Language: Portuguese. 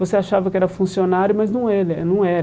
Você achava que era funcionário, mas não ele eh não era.